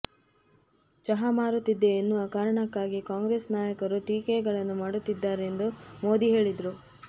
ಚಹಾ ಮಾರುತ್ತಿದ್ದೆ ಎನ್ನುವ ಕಾರಣಕ್ಕಾಗಿ ಕಾಂಗ್ರೆಸ್ ನಾಯಕರು ಟೀಕೆಗಳನ್ನು ಮಾಡುತ್ತಿದ್ದಾರೆ ಎಂದು ಮೋದಿ ಹೇಳಿದರು